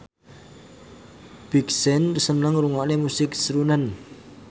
Big Sean seneng ngrungokne musik srunen